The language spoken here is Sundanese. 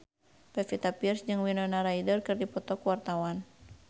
Pevita Pearce jeung Winona Ryder keur dipoto ku wartawan